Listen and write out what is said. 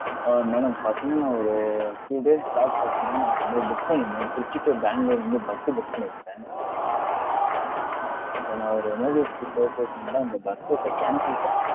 ஆஹ் madam பாத்திங்கனா, நான் ஒரு Few days back பாத்திங்கனா, நான் வந்து book பன்னிருந்தேன், திருச்சி to பேங்களூர் வந்து bus உ book பன்னிருந்தேன். so நான் ஒரு emergency purpose நாலா நான் இந்த bus trip அ cancel பன்றேன்